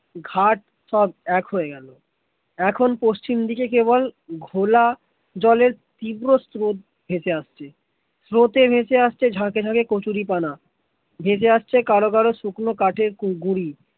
ঘাটসব এক হয়ে গেল এখন পশ্চিম দিকে কেবল ঘোলা জলের তীব্র স্রোত ভেসে আসছে, স্রোত ভেসে আসছে ঝাঁকে ঝাঁকে কচুরীপানা ভেসে আসছে কারো কারো শুকনো কাঠে গুড়ি